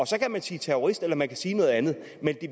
så kan man sige terrorist eller man kan sige noget andet men